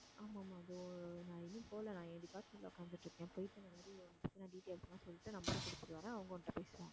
ஆமா ஆமா அது நான் இன்னும் போகலை நான் என் department ல உட்கார்ந்துட்டு இருக்கேன் போயிட்டு இந்த மாதிரி உன் details எல்லாம் சொல்லிட்டு number அ கொடுத்துட்டு வரேன் அவங்க உன்கிட்ட பேசுவாங்க